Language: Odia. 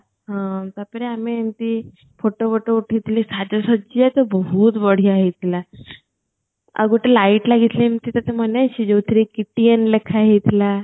ହଁ ତାପରେ ଆମେ ଏମିତି photo ବୋଟୋ ଉଠେଇଥିଲେ ସାଜ ସଜ୍ୟା ତ ବହୁତ ବଢ଼ିଆ ହେଇଥିଲା ଆଉ ଗୋଟେ light ଲାଗିଥିଲା ଏମିତି ତତେ ମନେ ଅଛି ଯୋଉଥିରେ କିଟିଆନ ଲେଖା ହେଇଥିଲା